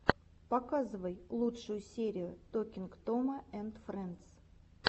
показывай лучшую серию токинг тома энд фрэндс